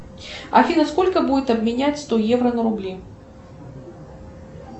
афина сколько будет обменять сто евро на рубли